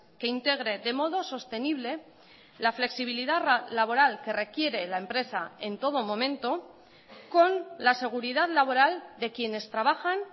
que integre de modo sostenible la flexibilidad laboral que requiere la empresa en todo momento con la seguridad laboral de quienes trabajan